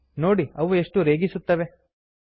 ನೋಡಿ ಅವುಗಳು ಎಷ್ಟು ರೇಗಿಸುತ್ತವೆ160